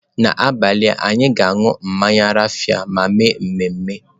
N'abalị, anyị ga-aṅụ mmanya raffia ma mee ememe.